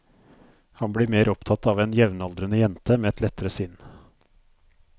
Han blir mer opptatt av en jevnaldrende jente med et lettere sinn.